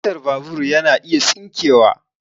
Kacan babur yana iya tsinkewa